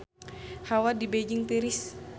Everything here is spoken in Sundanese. Hawa di Beijing tiris